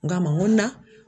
N k'a ma n ko n na